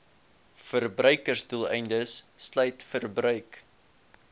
verbruiksdoeleindes sluit verbruik